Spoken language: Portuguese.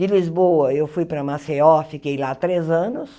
De Lisboa eu fui para Maceió, fiquei lá três anos.